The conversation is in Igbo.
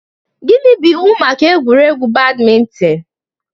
Gịnị bụ iwu maka egwuregwu badminton?